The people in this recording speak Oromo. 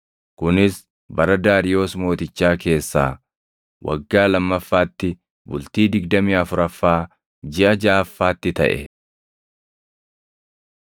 kunis bara Daariyoos mootichaa keessaa waggaa lammaffaatti, bultii digdamii afuraffaa jiʼa jaʼaffaatti taʼe.